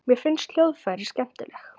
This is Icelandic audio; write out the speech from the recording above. Mér finnst hljóðfræði skemmtileg.